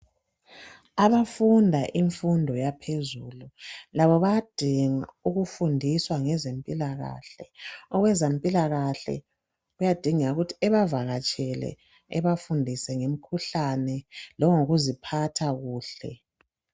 Abafunda imfundo yaphezulu labo bayadinga ukufundiswa ngezempilakahle. Owezempilakahle kuyadingeka ukuthi ebavakatshele, ebafundise ngemikhuhlane. Lanyokuziphatha kahle.